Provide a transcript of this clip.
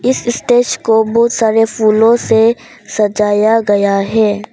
इस स्टेज को बहुत सारे फूलों से सजाया गया है।